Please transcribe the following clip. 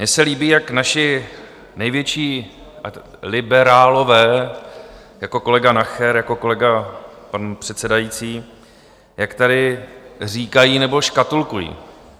Mně se líbí, jak naši největší liberálové jako kolega Nacher, jako kolega pan předsedající, jak tady říkají nebo škatulkují.